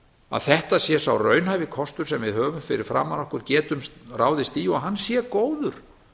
að þetta sé sá raunhæfi kostur sem við höfum fyrir framan okkur getum ráðist í og hann sé góður